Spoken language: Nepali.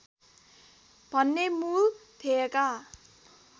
भन्ने मूल ध्येयका